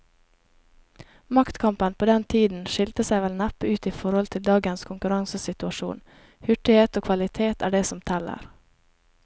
Maktkampen på den tiden skillte seg vel neppe ut i forhold til dagens konkurransesituasjon, hurtighet og kvalitet er det som teller.